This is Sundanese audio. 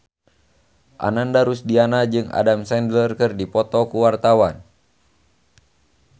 Ananda Rusdiana jeung Adam Sandler keur dipoto ku wartawan